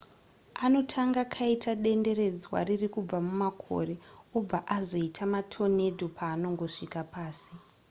anotanga kaita denderedzwa riri kubva mumakore obva azoita matornado paanongosvika pasi